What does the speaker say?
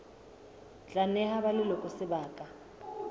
tla neha ba leloko sebaka